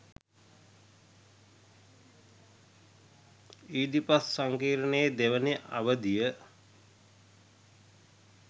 Oedipus සංකීර්ණයේ දෙවන අවධිය